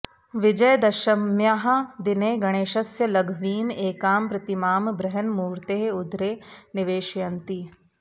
विजयदशम्याः दिने गणेशस्य लघ्वीम् एकां प्रतिमां बृहन्मूर्तेः उदरे निवेशयन्ति